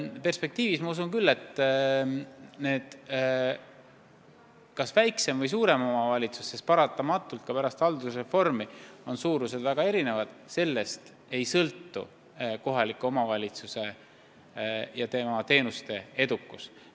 Paratamatult on ka pärast haldusreformi omavalitsuste suurus väga erinev, aga sellest ei sõltu kohaliku omavalitsuse edukus ja tema teenuste kvaliteet.